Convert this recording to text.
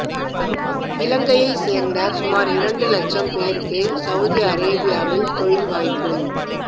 இலங்கையைச் சேர்ந்த சுமார் இரண்டு இலட்சம் பேருக்கு சவுதி அரேபியாவில் தொழில் வாய்ப்பு